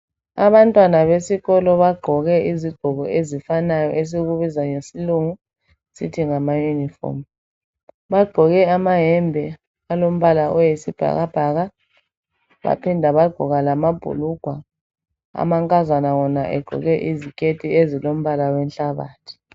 Abantwana besikolo bagqoke izigqoko ezifanayo esikubiza ngesilungu sisithi ngama uniform . Bagqoke amayembe alombala owesibhakabhaka .Baphinda bagqoka lamabhulugwa . Amankazana wona egqoke iziketi ezilombala wenhlabathi.